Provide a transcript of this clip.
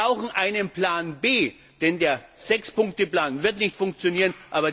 Wir brauchen einen Plan B, denn der 6 Punkte Plan wird nicht funktionieren.